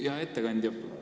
Hea ettekandja!